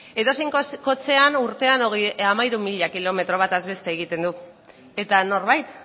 edozein kotxean urtean hamairu mila kilometro bataz beste egiten dugu eta norbait